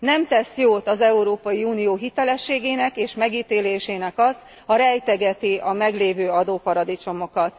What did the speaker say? Nem tesz jót az Európai Unió hitelességének és megítélésének az, ha rejtegeti a meglévő adóparadicsomokat.